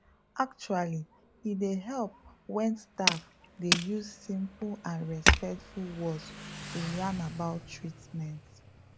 actually e dey help wen staff dey use simple and respectful words to yarn about treatments